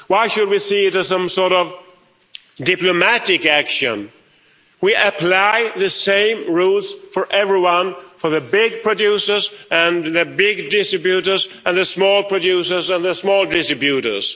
Why should we see it as some sort of diplomatic action? We apply the same rules to everyone to the big producers and the big distributors and the small producers and the small distributors.